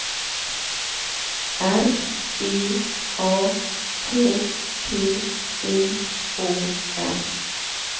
R E A K T I O N